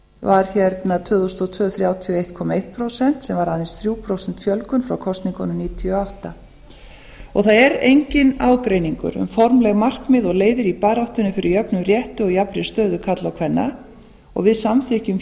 var hérna tvö þúsund og tvö þrjátíu og einn komma eitt prósent sem var aðeins þrjú prósent fjölgun frá kosningunum nítján hundruð níutíu og átta það er enginn ágreiningur um formleg markmið og leiðir í baráttunni fyrir jöfnum rétti og jafnri stöðu karla og kvenna við samþykkjum